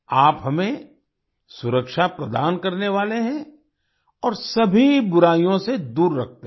आप हमें सुरक्षा प्रदान करने वाले हैं और सभी बुराइयों से दूर रखते हैं